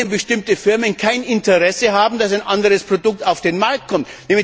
bestimmte Firmen kein Interesse haben, dass ein anderes Produkt auf den Markt kommt.